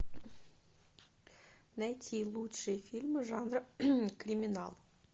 найти лучшие фильмы жанра криминал